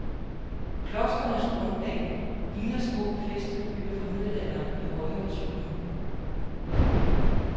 Klostrenes grundplan ligner små befæstede byer fra middelalderen med høje og tykke mure.